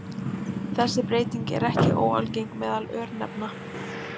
Þessi breyting er ekki óalgeng meðal örnefna.